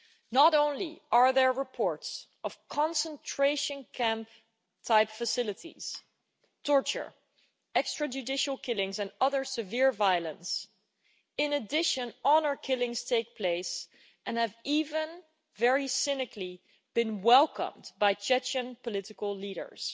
Not only are there reports of concentration camp-type facilities, torture, extrajudicial killings and other severe violence, but in addition, honour killings take place and have even very cynically been welcomed by Chechen political leaders.